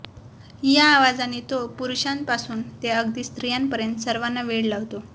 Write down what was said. या आवाजाने तो पुरुषांपासुन ते अगदी स्त्रियांपर्यंत सर्वांना वेड लावतो